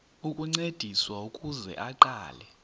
ukuncediswa ukuze aqale